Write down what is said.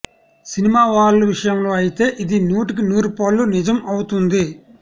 cinema వాళ్ళ విషయంలో అయితే ఇది నూటికి నూరుపాళ్ళు నిజం అవుతుంది